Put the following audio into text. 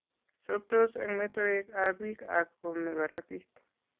Sobtoos eng' metoeek ab biik ak koome korotiik